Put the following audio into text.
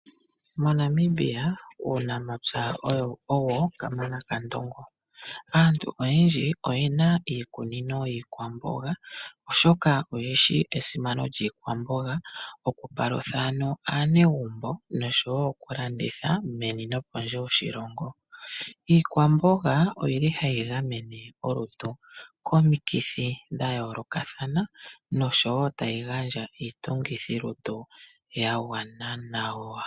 MoNamibia uunamapya owo kamana kaNdongo. Aantu oyendji oyena iikunino yiikwamboga , oshoka oyeshi esimano lyiikwamboga okupalutha aanegumbo noshowoo okulanditha meni nopondje yoshilongo. Iikwamboga oyili hayi gamene kolutu komikithi dhayoolokathana noshowoo tayi gandja iitungithilutu yagwana nawa.